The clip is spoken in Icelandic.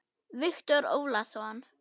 Viktor Ólason.